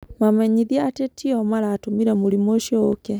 Mamenyithie atĩ ti o maratũmire mũrimũ ũcio ũũke.